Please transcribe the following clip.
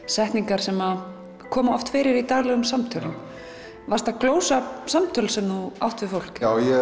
setningar sem koma oft fyrir í daglegum samtölum varstu að glósa hjá samtöl sem þú átt við fólk já ég